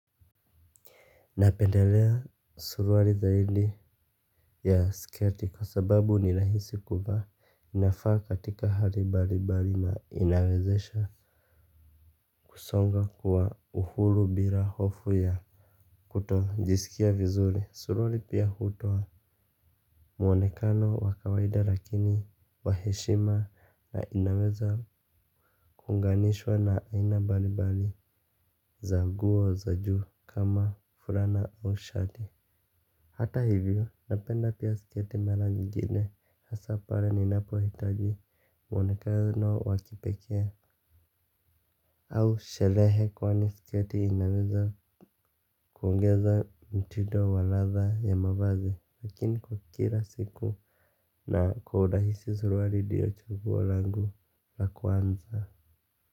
Napendelea suruali zaidi ya sketi kwa sababu nirahisi kuvaa inafaa katika hali mbalimbali na inawezesha kusonga kuwa uhuru bila hofu ya kutojisikia vizuri suruali pia hutoa muonekano wakawaida lakini waheshima na inaweza kuunganishwa na aina mbalimbali za nguo za juu kama furana au shati. Hata hivyo, napenda pia sketi mara nyingine hasa pale ninapo hitaji mwonekano wakipeke. Au sherehe kwani sketi inaweza kuongeza mtindo wa ladha ya mavazi lakini kwa kila siku na kaurahisi suruali ndio chaguo langu la kwanza.